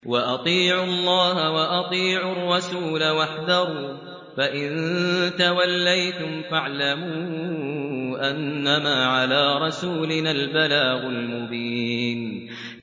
وَأَطِيعُوا اللَّهَ وَأَطِيعُوا الرَّسُولَ وَاحْذَرُوا ۚ فَإِن تَوَلَّيْتُمْ فَاعْلَمُوا أَنَّمَا عَلَىٰ رَسُولِنَا الْبَلَاغُ الْمُبِينُ